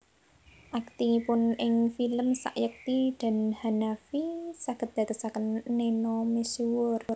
Aktingipun ing film Sayekti dan Hanafi saged dadosaken Neno misuwur